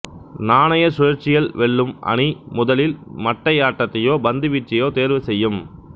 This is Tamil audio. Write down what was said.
நாணயச்சுழற்சியில் வெல்லும் அணி முதலில் மட்டையாட்டத்தையோ பந்துவீச்சையோ தேர்வு செய்யும்